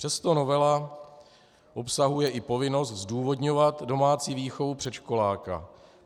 Přesto novela obsahuje i povinnost zdůvodňovat domácí výchovu předškoláka.